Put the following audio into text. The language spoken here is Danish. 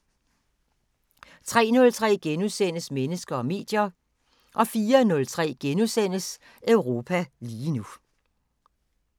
03:03: Mennesker og medier * 04:03: Europa lige nu *